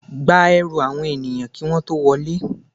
Gba ẹrù àwọn ènìyàn kí wọ́n tó wọlé.